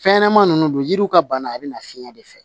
Fɛn ɲɛnɛmani nunnu don yiriw ka bana a bɛ na fiɲɛ de fɛ